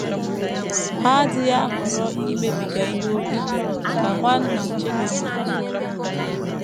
Ha adịghị ahọrọ imebiga ihe ókè, ” ka Nwanna Schilling kwuru.